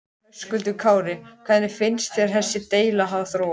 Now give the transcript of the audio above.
Höskuldur Kári: Hvernig finnst þér þessi deila hafa þróast?